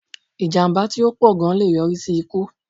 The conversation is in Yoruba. Ìjàmbá tí ó pọ̀ gan lé e yọrí sí ikú